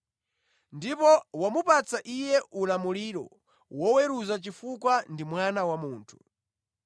Ndipo wamupatsa Iye ulamuliro woweruza chifukwa ndi Mwana wa Munthu.